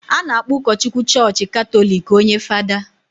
a na-akpọ ụkọchukwu chọọchị Katọlik onye Fada